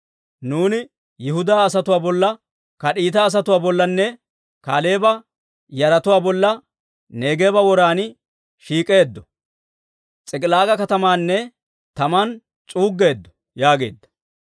Nuuni Yihudaa asatuwaa bolla, Kariita asatuwaa bollanne Kaaleeba yaratuwaa bolla Neegeeba woran shiik'eeddo; S'ik'ilaaga katamaakka tamaan s'uuggeedda» yaageedda.